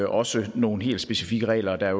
også nogle helt specifikke regler og der